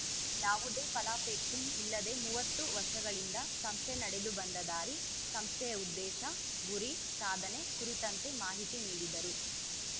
ಯಾವುದೇ ಫಲಾಪೇಕ್ಷೆ ಇಲ್ಲದೆ ಮೂವತ್ತು ವರ್ಷಗಳಿಂದ ಸಂಸ್ಥೆ ನಡೆದುಬಂದ ದಾರಿ ಸಂಸ್ಥೆಯ ಉದ್ದೇಶ ಗುರಿ ಸಾಧನೆ ಕುರಿತಂತೆ ಮಾಹಿತಿ ನೀಡಿದರು